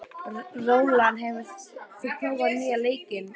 Rólant, hefur þú prófað nýja leikinn?